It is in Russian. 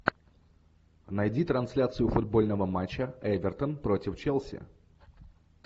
найди трансляцию футбольного матча эвертон против челси